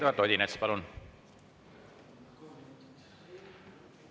Eduard Odinets, palun!